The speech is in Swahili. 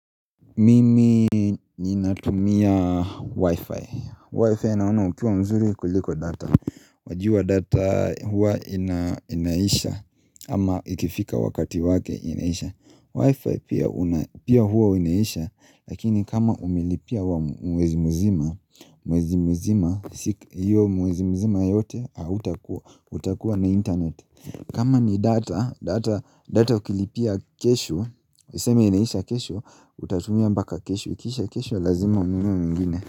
Mimi ninatumia wi-fi Wi-fi inaona ukiwa mzuri kuliko data Wajuwa data hua inaisha ama ikifika wakati wake inaisha Wi-fi pia hua inaisha Lakini kama umelipia wa mwezi mzima mwezi mzima yote utakuwa na internet kama ni data data ukilipia kesho useme inaisha kesho, utatumia mbaka kesho, ikiisha kesho, lazima ununue ingine.